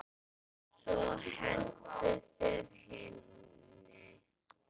Svo hentu þeir henni.